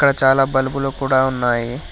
ఇక్కడ చాలా బల్బులు కూడా ఉన్నాయి.